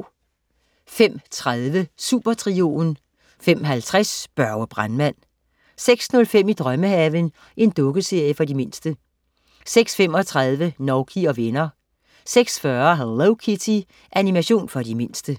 05.30 Supertrioen 05.50 Børge brandmand 06.05 I drømmehaven. Dukkeserie for de mindste 06.35 Nouky og venner 06.40 Hello Kitty. Animation for de mindste